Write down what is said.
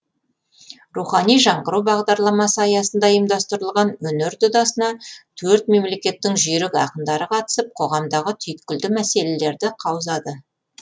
рухани жаңғыру бағдарламасы аясында ұйымдастырылған өнер додасына төрт мемлекеттің жүйрік ақындары қатысып қоғамдағы түйткілді мәселелерді қаузады